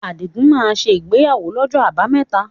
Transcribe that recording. Adigun máa ṣe ìgbéyàwó ni ọjọ́ abámẹ́ta